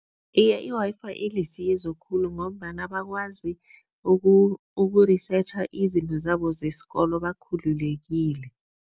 Iye, i-Wi-Fi ilisizo khulu ngombana bakwazi uku-reaearch izinto zabo zesikolo bakhulekile.